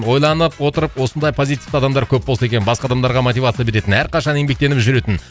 ойланып отырып осындай позитивті адамдар көп болса екен басқа адамдарға мотивация беретін әрқашан еңбектеніп жүретін